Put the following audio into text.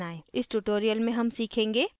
इस tutorial में हम सीखेंगे